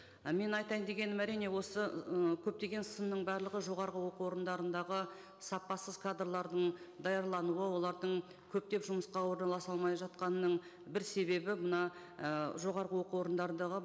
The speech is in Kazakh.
і мен айтайын дегенім әрине осы ы көптеген сынның барлығы жоғарғы оқу орындарындағы сапасыз кадрлардың даярлануы олардың көптеп жұмысқа орналаса алмай жатқанының бір себебі мына і жоғарғы оқу орындарындағы